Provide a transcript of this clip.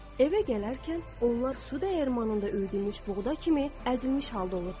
Evə gələrkən onlar su dəyirmanında üyüdülmüş buğda kimi əzilmiş halda olurdular.